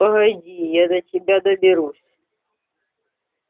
погоди я до тебя доберусь